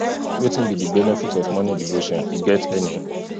wetin be di benefit of morning devotion e get any